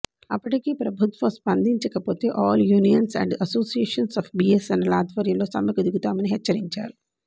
అప్పటికీ ప్రభుత్వ స్పందించకపోతే all unions and associations of BSNL ఆధ్వర్యంలో సమ్మెకు దిగుతామని హెచ్చరించారు